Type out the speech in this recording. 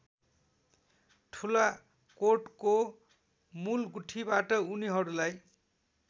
ठुलाकोटको मूलगुठीबाट उनीहरूलाई